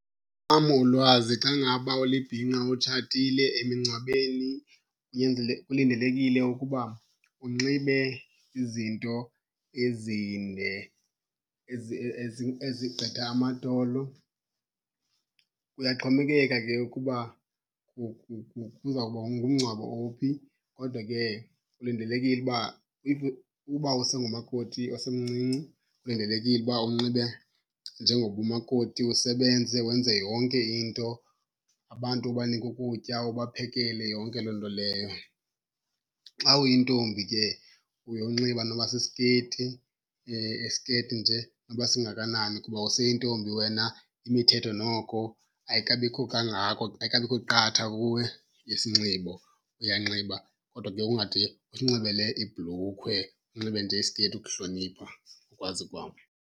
ulwazi xa ngaba ulibhinqa utshatile emingcwabeni kulindelekile ukuba unxibe izinto ezinde ezigqitha amadolo. Kuyaxhomekeka ke ukuba kuzawuba ngumngcwabo ophi kodwa ke kulindelekile uba if uba usengumakoti osemncinci kulindelekile uba unxibe njengoba umakoti, usebenze wenze yonke into. Abantu ubanike ukutya, ubaphekele, yonke loo nto leyo. Xa uyintombi ke uye unxiba noba sisiketi, isiketi nje noba singakanani kuba useyintombi wena imithetho noko ayikabikho kangako, ayikabikho qatha kuwe yesinxibo. Uyanxiba kodwa ke ungade usinxibele ibhlukhwe, unxibe nje isiketi ukuhlonipha ukwazi kwam.